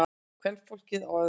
Kvenfólkið á öðrum.